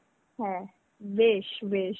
হ্যাঁ, বেশ বেশ.